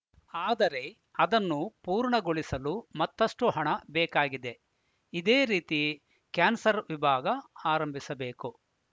ಆದರೆ ಅದನ್ನು ಪೂರ್ಣಗೊಳಿಸಲು ಮತ್ತಷ್ಟು ಹಣ ಬೇಕಾಗಿದೆ ಇದೇ ರೀತಿ ಕ್ಯಾನ್ಸರ್‌ ವಿಭಾಗ ಆರಂಭಿಸಬೇಕು